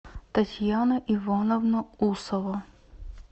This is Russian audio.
татьяна ивановна усова